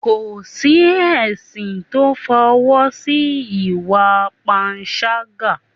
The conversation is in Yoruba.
kò sí ẹ̀sìn to f'ọwọ́ si ìwà panṣágà